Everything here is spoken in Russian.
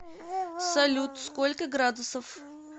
салют сколько градусов